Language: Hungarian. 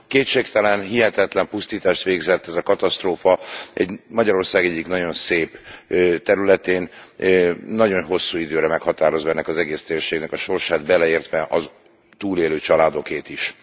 Kétségtelen, hihetetlen pusztítást végzett ez a katasztrófa Magyarország egyik nagyon szép területén, nagyon hosszú időre meghatározva ennek az egész térségnek a sorsát, beleértve a túlélő családokét is.